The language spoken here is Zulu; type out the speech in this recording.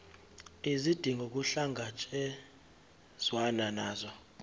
izidingo kuhlangatshezwane nazo